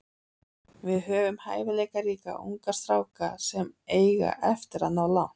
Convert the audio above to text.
Við höfum hæfileikaríka unga stráka sem eiga eftir að ná langt.